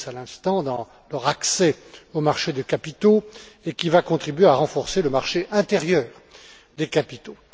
Klinz à l'instant, dans leur accès aux marchés de capitaux, et qui va contribuer à renforcer le marché intérieur des capitaux.